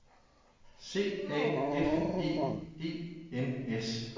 C A F E E N S